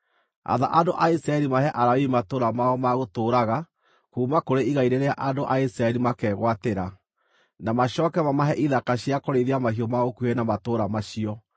“Atha andũ a Isiraeli mahe Alawii matũũra mao ma gũtũũraga kuuma kũrĩ igai rĩrĩa andũ a Isiraeli makegwatĩra. Na macooke mamahe ithaka cia kũrĩithia mahiũ mao gũkuhĩ na matũũra macio.